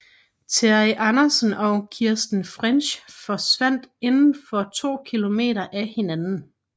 Terri Anderson og Kristen French forsvandt inden for to kilometer af hinanden